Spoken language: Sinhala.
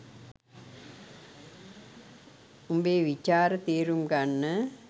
උඹේ විචාර තේරුම් ගන්න